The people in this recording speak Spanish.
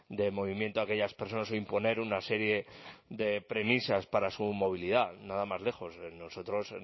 de movimiento a aquellas personas o imponer una serie de premisas para su movilidad nada más lejos nosotros